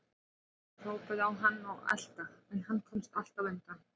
Hún fór að hrópa á hann og elta, en hann komst alltaf undan.